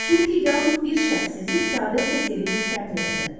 Çünki yalnız bir şəxs sizi səadət və sevinclə təmin edə bilər.